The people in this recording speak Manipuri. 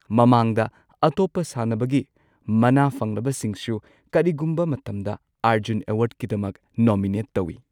ꯃꯃꯥꯡꯗ ꯑꯇꯣꯞꯄ ꯁꯥꯟꯅꯕꯒꯤ ꯃꯅꯥ ꯐꯪꯂꯕꯁꯤꯡꯁꯨ ꯀꯔꯤꯒꯨꯝꯕ ꯃꯇꯝꯗ ꯑꯔꯖꯨꯟ ꯑꯦꯋꯥꯔꯗꯀꯤꯗꯃꯛ ꯅꯣꯃꯤꯅꯦꯠ ꯇꯧꯏ꯫